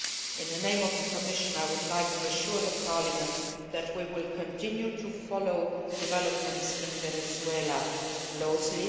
In the name of the Commission, I would like to assure Parliament that we will continue to follow developments in Venezuela closely.